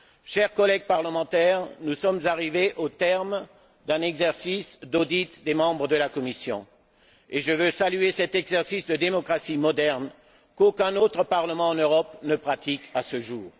Chers collègues parlementaires, nous sommes arrivés au terme d'un exercice d'audit des membres de la Commission, et je veux saluer cet exercice de démocratie moderne qu'aucun autre parlement en Europe ne pratique à ce jour.